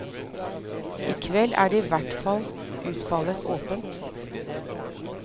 I kveld er i hvert fall utfallet åpent.